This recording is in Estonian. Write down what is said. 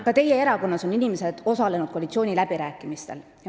Ka teie erakonna inimesed on osalenud koalitsiooniläbirääkimistel.